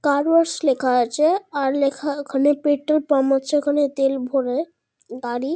কার ওয়ার্স ওয়াশ লেখা আছে। আর লেখা ওখানে পেট্রোল পাম্প আছে। ওখানে তেল ভরলে গাড়ি --